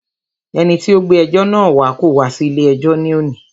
Ẹni tí o gbé ẹjọ́ náà wá kò wá sí ilé ẹjọ́ ní òní.